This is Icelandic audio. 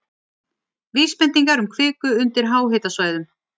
Vísbendingar um kviku undir háhitasvæðum